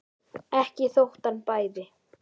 Ekki þótt hann bæði.